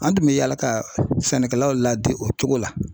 An tun bɛ yala ka sɛnɛkɛlaw ladege o cogo la.